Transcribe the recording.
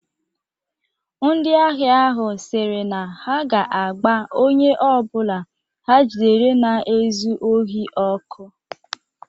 Ndị ahịa ahụ siri na ha ga-agba onye ọ bụla ha jidere na-ezu ohi ọkụ